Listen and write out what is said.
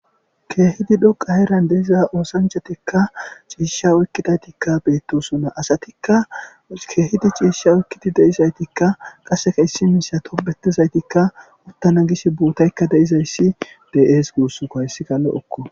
keehidi dhoqa heran deiza oosanchatekka ciisha oykkidaytikka beettosona asatikka keehidi ciishsha oykkidi deizaytikka qaseka issi misa toppetizaytikka uttana gish bootaykka deizayssi de7ees guussunko hayssi lo'okko